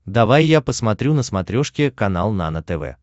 давай я посмотрю на смотрешке канал нано тв